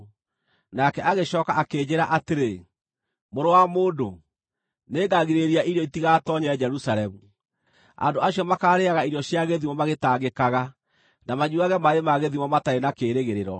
Nake agĩcooka akĩnjĩĩra atĩrĩ, “Mũrũ wa mũndũ, nĩngagirĩrĩria irio itigatoonye Jerusalemu. Andũ acio makaarĩĩaga irio cia gĩthimo magĩtangĩkaga, na manyuuage maaĩ ma gĩthimo matarĩ na kĩĩrĩgĩrĩro,